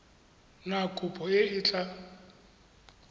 na kopo e e tla